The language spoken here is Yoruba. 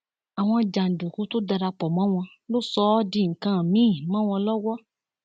àwọn jàǹdùkú tó dara pọ mọ wọn ló sọ ọ di nǹkan mìín mọ wọn lọwọ